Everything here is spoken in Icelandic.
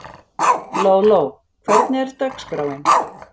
Lóló, hvernig er dagskráin?